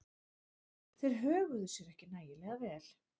Þeir höguðu sér ekki nægilega vel.